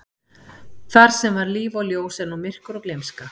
Þar sem var líf og ljós er nú myrkur og gleymska.